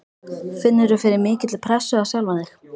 Finnurðu fyrir mikilli pressu á sjálfan þig?